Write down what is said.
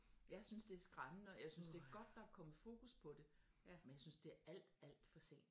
Jeg synes det er skræmmende og jeg synes det er godt at der er kommet fokus på det men jeg synes det er alt alt for sent